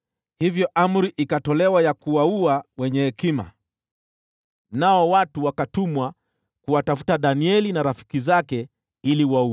Hivyo amri ikatolewa ya kuwaua wenye hekima, nao watu wakatumwa kuwatafuta Danieli na rafiki zake ili wawaue.